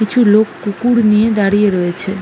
কিছু লোক কুকুর নিয়ে দাঁড়িয়ে রয়েছে।